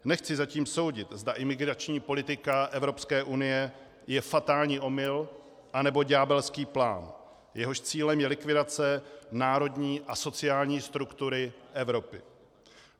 Nechci zatím soudit, zda imigrační politika Evropské unie je fatální omyl, anebo ďábelský plán, jehož cílem je likvidace národní a sociální struktury Evropy.